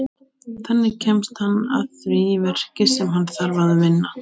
Þannig kemst hann að því verki sem hann þarf að vinna.